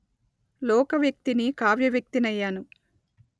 లోకవ్యక్తిని కావ్యవ్యక్తినయ్యాను